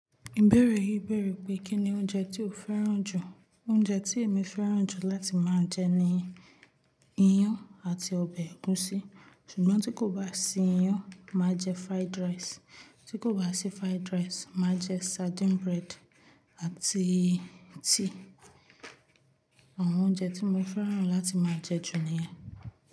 Ìbéèrè yìí béèrè pé kí ni oúnjẹ tí o fẹ́ràn jù. Oúnjẹ tí èmi fẹ́ràn jù láti máa jẹ ni iyán àti ọbẹ̀ ẹ̀gúsí. Ṣùgbọ́n tí kò bá sí iyán, màá jẹ fried rice. Tí kò bá sí fried rice, màá jẹ sardine bread àti tíì. Àwọn oúnjẹ tí mo fẹ́ràn láti máa jẹ jù niyẹn.